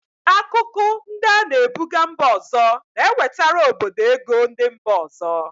Akụkụ ndi ana ebuga mba ọzọ na-ewetara obodo ego ndi mba ọzọ.